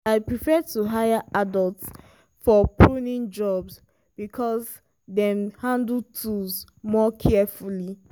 i prefer to hire adults for pruning jobs because dem dey handle tools more carefully.